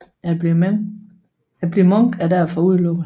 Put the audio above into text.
At blive munk er derfor udelukket